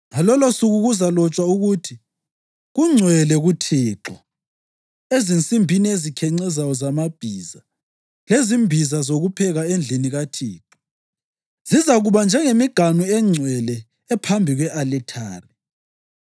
Ngalolosuku kuzalotshwa ukuthi “Kungcwele kuThixo” ezinsimbini ezikhencezayo zamabhiza, lezimbiza zokupheka endlini kaThixo zizakuba njengemiganu engcwele ephambi kwe-alithari.